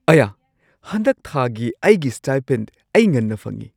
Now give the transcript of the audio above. ꯑꯌꯥ! ꯍꯟꯗꯛ ꯊꯥꯒꯤ ꯑꯩꯒꯤ ꯁ꯭ꯇꯥꯏꯄꯦꯟ ꯑꯩ ꯉꯟꯅ ꯐꯪꯉꯦ!